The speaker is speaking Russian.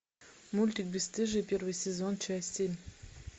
мультик бесстыжие первый сезон часть семь